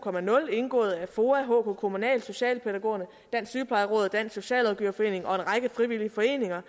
indgået af foa hk kommunal socialpædagogerne dansk sygeplejeråd og dansk socialrådgiverforening og en række frivillige foreninger